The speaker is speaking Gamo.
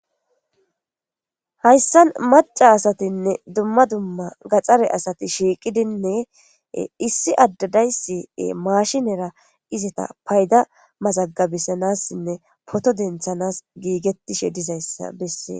Haysan maca asatinne dumma gaxare asati shiqidine is Ade daysi mashinera izeta payda mazagibisanasinne photo denthanas gigetishe dizaysa beses.